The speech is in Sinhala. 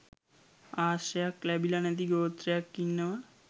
ආශ්‍රයක් ලැබිල නැති ගෝත්‍රයක් ඉන්නවා.